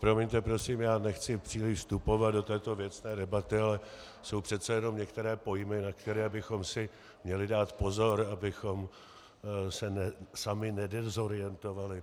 Promiňte prosím, já nechci příliš vstupovat do této věcné debaty, ale jsou přece jenom některé pojmy, na které bychom si měli dát pozor, abychom se sami nedezorientovali.